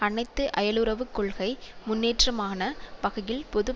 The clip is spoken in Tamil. அனைத்து அயலுறவுக் கொள்கை முன்னேற்றமான வகையில் பொது